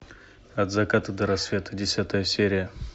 от заката до рассвета десятая серия